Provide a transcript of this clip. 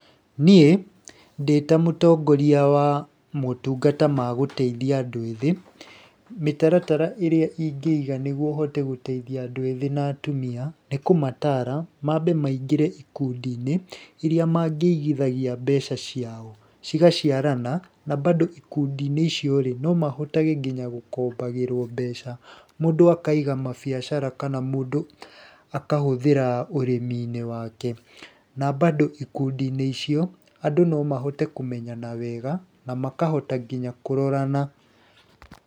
Niĩ ndĩta mũtongoria wa motungata ma gũteithia andũ ethĩ, mĩtaratara ĩrĩa ingĩiga nĩguo hote gũteithia andũ ethĩ na atumia nĩ kũmatara mambe maingĩrĩa ikundi-inĩ iria mangĩigithi mbeca ciao cigaciarana. Na bado ikundi-inĩ icio no mahote gũkombagĩrwo mbeca. Mũndũ akaiga mabiacara kana mũndũ akahũthĩra urĩmi-inĩ wake. Na bado ikundi-inĩ icio, andũ no mahote kũmenyana wega na makahota nginya kũrorana.